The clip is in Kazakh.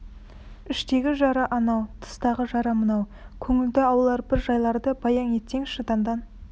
іштегі жара анау тыстағы жара мынау көңілді аулар бір жайларды баян етсеңші дандан